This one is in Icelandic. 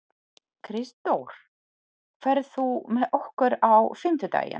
Kristdór, ferð þú með okkur á fimmtudaginn?